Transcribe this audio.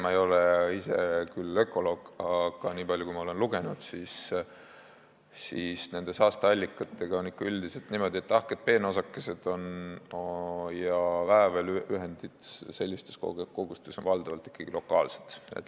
Ma ei ole ise küll ökoloog, aga niipalju, kui ma olen lugenud, võin öelda, et saasteallikatega on üldiselt niimoodi, et tahked peenosakesed ja väävliühendid sellistes kogustes on valdavalt ikkagi lokaalsed.